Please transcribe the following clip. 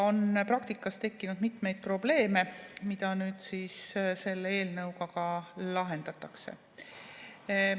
Praktikas on tekkinud mitmeid probleeme, mida nüüd selle eelnõuga lahendatakse.